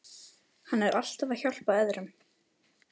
Hann er alltaf að hjálpa öðrum.